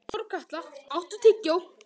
Þorkatla, áttu tyggjó?